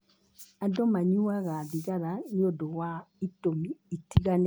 Andũ manyuaga thigara nĩ ũndũ wa itũmi itiganĩte.